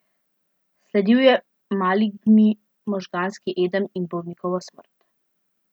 Sledil je maligni možganski edem in bolnikova smrt.